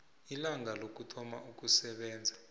ilanga lokuthoma ukusebenza